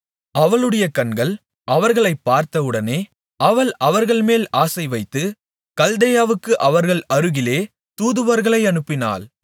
அவளுடைய கண்கள் அவர்களைப் பார்த்தவுடனே அவள் அவர்கள்மேல் ஆசைவைத்து கல்தேயாவுக்கு அவர்கள் அருகிலே தூதுவர்களை அனுப்பினாள்